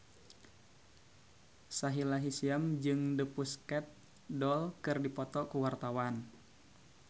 Sahila Hisyam jeung The Pussycat Dolls keur dipoto ku wartawan